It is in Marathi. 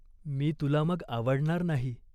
मी तुला मग आवडणार नाही.